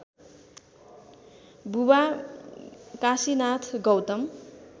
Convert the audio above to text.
बुबा काशीनाथ गौतम